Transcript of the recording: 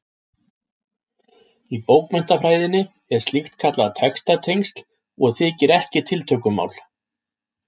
Í bókmenntafræðinni er slíkt kallað textatengsl og þykir ekki tiltökumál.